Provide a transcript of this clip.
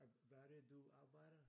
Hvad er det du arbejder?